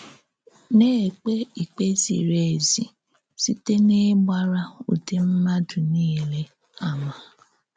Na-èkpé ìkpè zìrì èzí sị̀tè n’ìgbárà ǔdị̀ mmádụ nìlè àmà.